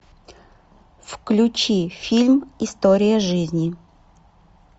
включи фильм история жизни